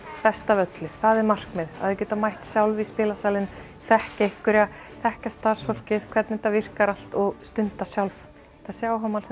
best af öllu það er markmið að þau geti mætt sjálf í spilasalinn þekkja einhverja þekkja starfsfólkið hvernig þetta virkar allt og stunda sjálf þessi áhugamál